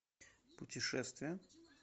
путешествия